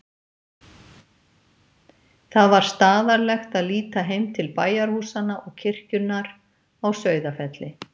Það var staðarlegt að líta heim til bæjarhúsanna og kirkjunnar á Sauðafelli.